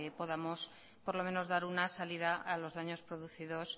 podamos por lo menos dar una salida a los daños producidos